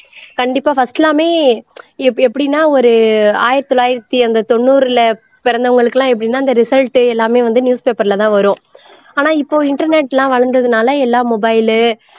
கண்டிப்பா first லாமே எப் எப்படின்னா ஒரு ஆயிரத்தி தொளாயிரத்தி அந்த தொண்ணூறுல பிறந்தவர்களுக்கெல்லாம் எப்படின்னா அந்த result எல்லாமே வந்து newspaper ல தான் வரும் ஆனால் இப்போ internet லாம் வளர்ந்ததுனாலே எல்லாம் mobile உ